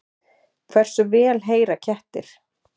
Hversu vel heyra kettir?